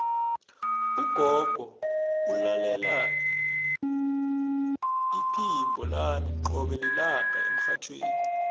ugogo ulalela iphimbo lami qobe lilanga emrhatjhweni